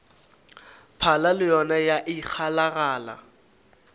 phala le yona ya ikgalagala